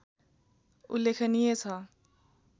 उल्लेखनीय छ